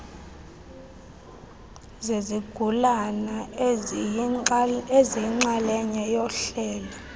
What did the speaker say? zezigulana eziyinxalenye yohlelo